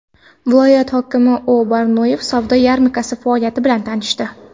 Viloyat hokimi O‘.Barnoyev savdo yarmarkasi faoliyati bilan tanishdi.